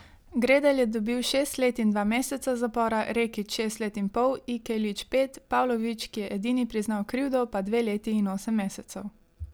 Gredelj je dobil šest let in dva meseca zapora, Rekić šest let in pol, Ikeljić pet, Pavlović, ki je edini priznal krivdo, pa dve leti in osem mesecev.